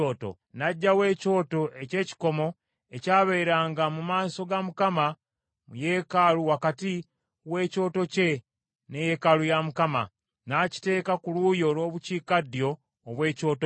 N’aggyawo ekyoto eky’ekikomo ekyabeeranga mu maaso ga Mukama mu yeekaalu wakati w’ekyoto kye ne yeekaalu ya Mukama , n’akiteeka ku luuyi olw’obukiikaddyo obw’ekyoto kye.